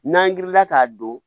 N'an wulila k'a don